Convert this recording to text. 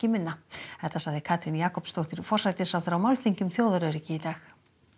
minna þetta sagði Katrín Jakobsdóttir forsætisráðherra á málþingi um þjóðaröryggi í dag